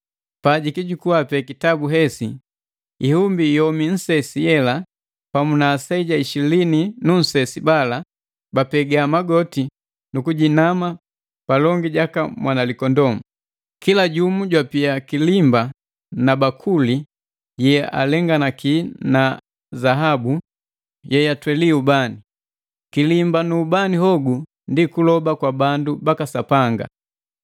Pa jukijukua pee kitabu hesi, ihumbi yomi nsesi yela pamu na aseja ishilini nunsesi bala bapega magoti nukujinama palongi jaka Mwanalikondoo. Kila jumu jwapia kilimba na bakuli yealenganaki na zaabu yeyatweli ubani. Kilimba nu ubani hogu ndi kuloba kwa bandu baka Sapanga.